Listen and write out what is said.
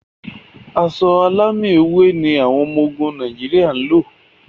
Aṣọ alámì ewé ni àwọn ọmọ ogún Nàìjíríà ń lò.